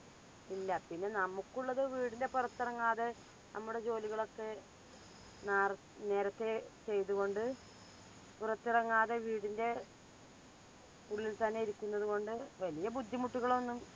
ഇല്ല. പിന്നെ നമുക്കുള്ളത് വീടിന്റെ പുറത്തിറങ്ങാതെ നമ്മുടെ ജോലികളൊക്കെ നാർ - നേരത്തെ ചെയ്തു കൊണ്ട് പുറത്തിറങ്ങാതെ വീടിന്റെ ഉള്ളിൽ തന്നെ ഇരിക്കുന്നതു കൊണ്ട് വല്യ ബുദ്ധിമുട്ടുകളൊന്നും